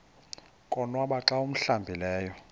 konwaba xa awuhlambileyo